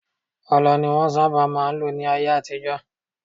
Ọlọ ni wọnsábà má n lò ní ayé àtijọ́.